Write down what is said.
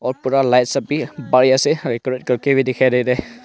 और पूरा लाइट्स सब भी बढ़िया से डेकोरेट करके भी दिखाई दे रहा है।